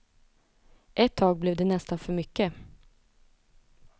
Ett tag blev det nästan för mycket.